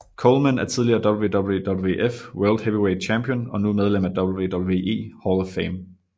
Coleman er tidligere WWWF World Heavyweight Champion og nu medlem af WWE Hall of Fame